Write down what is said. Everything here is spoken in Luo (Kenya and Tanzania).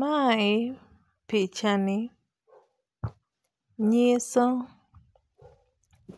Mae pichani nyiso